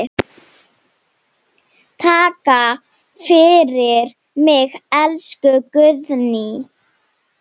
Takk fyrir mig, elsku Guðný.